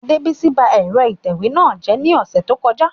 Adebisi ba ẹ̀rọ ìtẹ̀wé náà jẹ́ ní ọ̀sẹ̀ tó kọjá